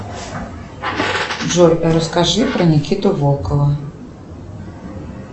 джой расскажи про никиту волкова